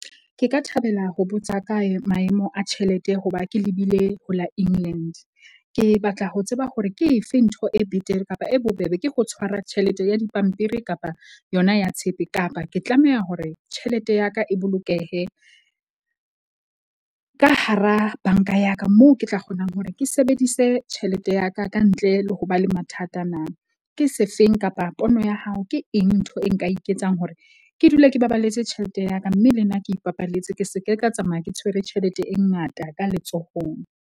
Ke ka thabela ho botsa kae maemo a tjhelete hoba ke lebile ho la England. Ke batla ho tseba hore ke efe ntho e betere kapa e bobebe ke ho tshwara tjhelete ya dipampiri kapa yona ya tshepe. Kapa ke tlameha hore tjhelete ya ka e bolokehe ka hara bank-a ya ka moo ke tla kgonang hore ke sebedise tjhelete ya ka ka ntle le ho ba le mathata ana. Ke sefeng kapa pono ya hao ke eng ntho e nka iketsang hore ke dule ke baballetse tjhelete ya ka. Mme le nna ke ipapalletse ke seke ka tsamaya, ke tshwere tjhelete e ngata ka letsohong.